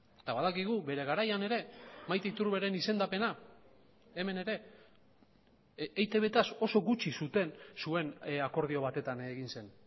eta badakigu bere garaian ere maite iturberen izendapena hemen ere eitb taz oso gutxi zuten zuen akordio batetan egin zen